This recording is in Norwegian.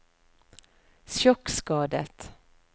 sjokkskadet